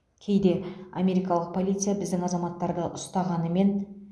кейде америкалық полиция біздің азаматтарды ұстағанымен